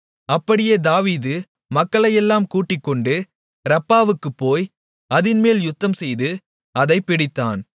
அப்படியே தாவீது மக்களையெல்லாம் கூட்டிக்கொண்டு ரப்பாவுக்குப் போய் அதின்மேல் யுத்தம்செய்து அதைப் பிடித்தான்